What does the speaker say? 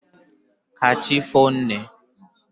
ka chi foonu, nne.